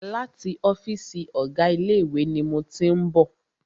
Láti ọ́fìsì ọ̀gá ilé ìwé ni mo tí ń bọ̀.